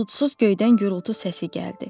Buludsuz göydən gurultu səsi gəldi.